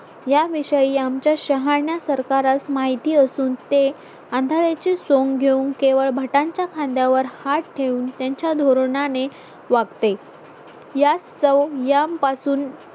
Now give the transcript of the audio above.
याविषयी आमच्या शहाण्या सरकारास माहिती असून ते आंधळ्याचे सोंग घेऊ केवळ भट यांच्या खांद्यावर हात ठेवून त्यांच्या धोरणाने वागते यास्तव यांपासून